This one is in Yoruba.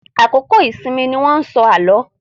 Àkókò ìsinmi ni wọ́n ń sọ àlọ́.